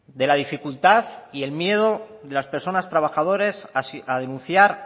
de la dificultad y el miedo de las personas trabajadoras a denunciar